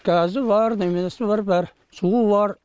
газы бар неменесі бар бәрі суы бар